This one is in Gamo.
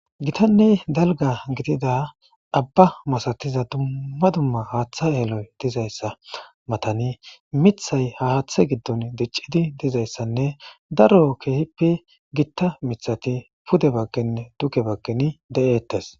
Gitanne dalga gidida abba masatiza dummma dumma haaththa yeloy dizayssa matani mithay haaththe giddon diccidi dizayssanne daro keehippe gitta mithati pude baggenne duke baggeni de'eettes.